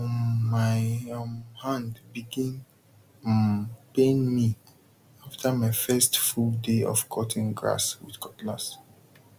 um my um hand begin um pain me after my first full day of cutting grass with cutlass